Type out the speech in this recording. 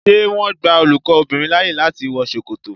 Ṣé wọn gba olùkọ́ obìnrin láyè láti wọ Ṣòkòtò?